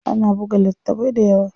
Ana buga littafai dayawa.